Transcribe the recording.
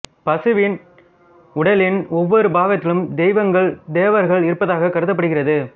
பசுவின் உடலின் ஒவ்வொரு பாகத்திலும் தெய்வங்கள் தேவர்கள் இருப்பதாக கருதப்படுகிறது